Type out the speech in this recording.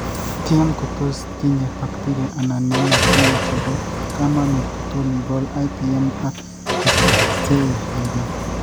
tiem ko tos tinyei baktiria anan nematode che bo kamanuut kotom igol IPM ak tesoksei riibet